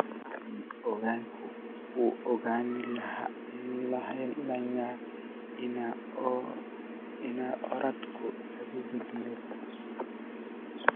Laakiin go'aanka u oggolaanayay inay orodo hadda waa la baabi'iyay.